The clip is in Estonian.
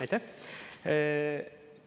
Aitäh!